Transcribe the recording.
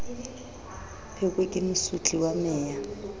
pheko ke mosotli wa meya